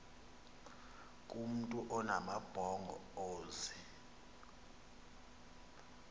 kumntu onamabhongo ozee